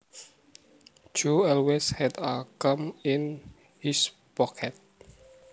Joe always had a comb in his pocket